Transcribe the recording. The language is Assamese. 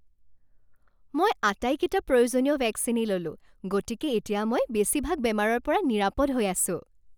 মই আটাইকেইটা প্ৰয়োজনীয় ভেকচিনেই ল'লো। গতিকে এতিয়া মই বেছিভাগ বেমাৰৰ পৰা নিৰাপদ হৈ আছোঁ।